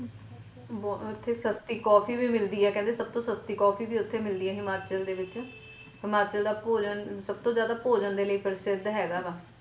ਉੱਥੇ ਸਸਤੀ coffee ਵੀ ਮਿਲਦੀ ਹੈ ਕਹਿੰਦੇ ਸਭ ਤੋਂ ਸਸਤੀ coffee ਵੀ ਉੱਥੇ ਹੀ ਮਿਲਦੀ ਹੈ ਹਿਮਾਚਲ ਦੇ ਵਿੱਚ ਹਿਮਾਚਲ ਦਾ ਭੋਜਨ ਸਭ ਤੋ ਜਿਆਦਾ ਭੋਜਨ ਲਈ ਪ੍ਰਸਿੱਧ ਹੈਗਾ ਵਾ।